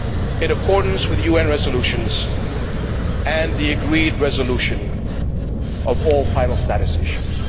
in accordance with UN resolutions, and the agreed resolution of all final status issues.